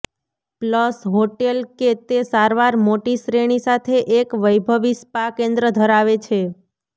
plus hotel કે તે સારવાર મોટી શ્રેણી સાથે એક વૈભવી સ્પા કેન્દ્ર ધરાવે છે